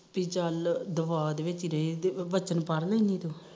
ਤੇ ਚੱਲ ਦਵਾਅ ਦੇ ਵਿਚ ਰਹੇ ਵਚਨ ਪੜ ਲੈਂਦੀ ਤੂੰ